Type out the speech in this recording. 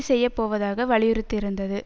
செய்ய போவதாக வலியுறுத்தியிருந்தது